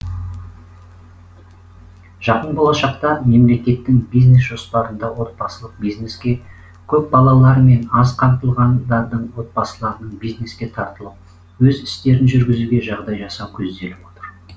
жақын болашақта мемлекеттің бизнес жоспарында отбасылық бизнеске көпбалалылар мен аз қамтылғандардың отбасыларының бизнеске тартылып өз істерін жүргізуге жағдай жасау көзделіп отыр